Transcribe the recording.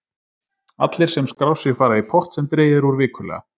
Allir sem skrá sig fara í pott sem dregið er úr vikulega.